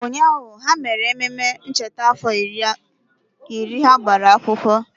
Ee, ụnyahụ, ha mere ememe ncheta afọ iri ha gbara akwụkwọ